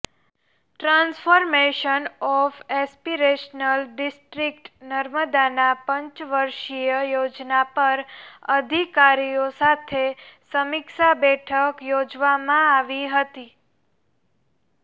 transformations of aspirational district નર્મદાનાં પંચવર્ષીય યોજના પર અધિકારીઓ સાથે સમીક્ષા બેઠક યોજવામાં આવી હતી